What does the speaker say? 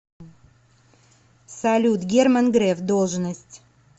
салют герман греф должность